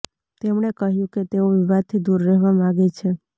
તેમણે કહ્યું કે તેઓ વિવાદથી દૂર રહેવા માગે છે